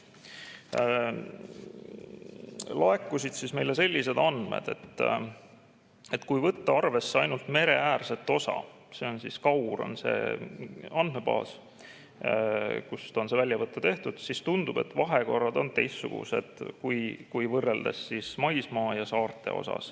Meile laekusid sellised andmed, et kui võtta arvesse ainult mereäärset osa – KAUR on see andmebaas, kust on see väljavõte tehtud –, siis tundub, et vahekorrad on maismaal teistsugused kui saartel.